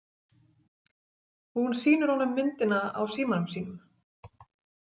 Hún sýnir honum myndina á símanum sínum.